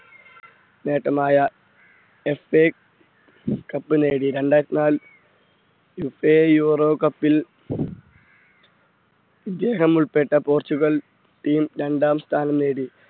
നേട്ടമായ FA cup നേടി രണ്ടായിരത്തി നാലിൽ യൂറോ cup ൽ ഇദ്ദേഹം ഉൾപ്പെട്ട പോർച്ചുഗൽ ടീം രണ്ടാം സ്ഥാനം നേടി.